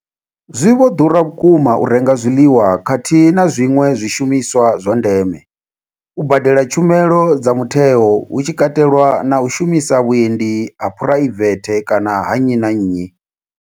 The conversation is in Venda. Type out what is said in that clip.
Zwi vho ḓura vhukuma u renga zwiḽiwa khathihi na zwiṅwe zwishumiswa zwa ndeme, u badela tshumelo dza mutheo hu tshi katelwa na u shumisa vhuendi ha phuraivethe kana ha nnyi na nnyi.